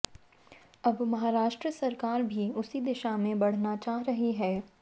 अब महाराष्ट्र सरकार भी उसी दिशा में बढऩा चाह रही है